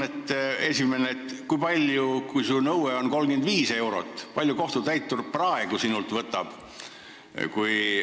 Minu esimene küsimus on: kui su nõue on 35 eurot, kui palju kohtutäitur praegu sinult võtab?